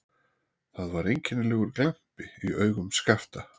Það var einkennilegur glampi í augum Skapta.